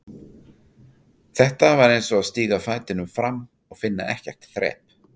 Þetta var eins og að stíga fætinum fram og finna ekkert þrep.